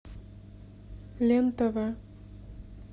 лен тв